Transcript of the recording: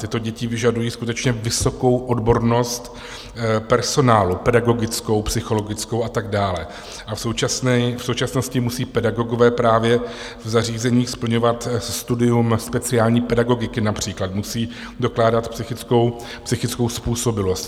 Tyto děti vyžadují skutečně vysokou odbornost personálu - pedagogickou, psychologickou a tak dále - a v současnosti musí pedagogové právě v zařízeních splňovat studium speciální pedagogiky, například musí dokládat psychickou způsobilost.